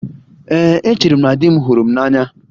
Ee, echere m na di m hụrụ m n'anya